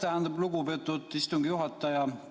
Aitäh, lugupeetud istungi juhataja!